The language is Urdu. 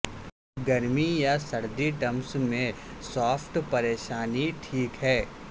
گرمی یا سرد ٹمپس میں شافٹ پریشانی ٹھیک ہے